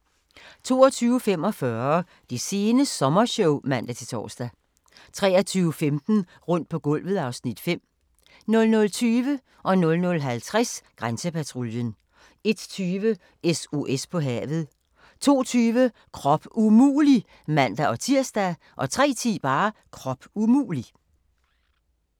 22:45: Det sene sommershow (man-tor) 23:15: Rundt på gulvet (Afs. 5) 00:20: Grænsepatruljen 00:50: Grænsepatruljen 01:20: SOS på havet 02:20: Krop umulig! (man-tir) 03:10: Krop umulig!